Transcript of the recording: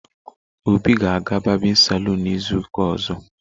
Obi ga-aga barbịn salụn izu ụka ozo.